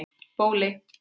Bóli